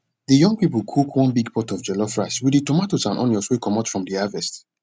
de young people cook one big pot of jollof rice with de tomatoes and onions wey comot from de harvest